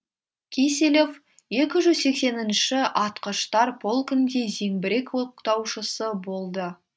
киселев екі жүз сексенінші атқыштар полкінде зеңбірек октаушысы болды